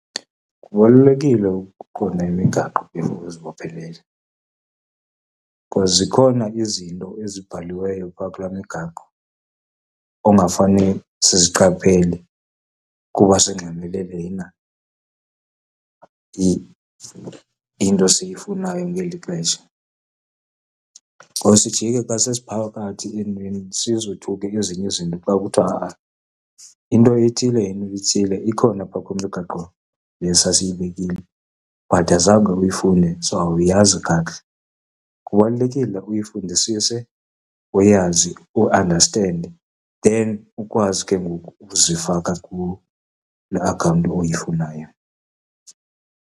Kubalulekile ukuqonda imigaqo before uzibophelele, because zikhona izinto ezibhaliweyo pha kulaa migaqo ongafaniyo siziqaphele kuba singxamele lena into siyifunayo ngeli xesha. Ngoku ke sijike xa sesiphakathi entweni sizothuke ezinye izinto xa kuthiwa ha-a, into ethile yento ethile ikhona phaa kwimigaqo le sasiyibekile but azange uyifunde so awuyazi kakuhle. Kubalulekile uyifundisise uyazi, uandastende then ukwazi ke ngoku ukuzifaka kule akhawunti oyifunayo.